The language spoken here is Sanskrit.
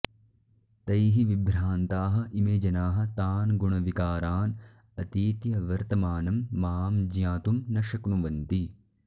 तैः विभ्रान्ताः इमे जनाः तान् गुणविकारान् अतीत्य वर्तमानं मां ज्ञातुं न शक्नुवन्ति